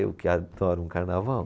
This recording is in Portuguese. Eu que adoro um carnaval.